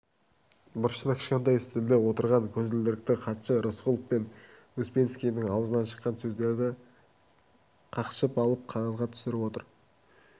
бұрышта кішкентай үстелде отырған көзілдірікті хатшы рысқұлов пен успенскийдің аузынан шыққан сөздерді қақшып алып қағазға түсіріп отыр